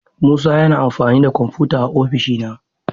Musa yana amfani da kwamfuta a ofishina.